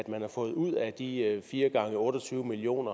man har fået ud af de fire gange otte og tyve million